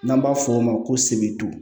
N'an b'a f'o ma ko sebidu